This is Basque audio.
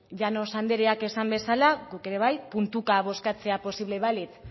llanos andereak esan bezala guk ere bai puntuka bozkatzea posible balitz